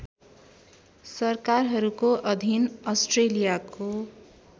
सरकारहरूको अधीन अस्ट्रेलियाको